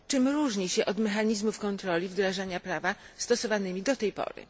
Czym różni się od mechanizmów kontroli wdrażania prawa stosowanymi do tej pory?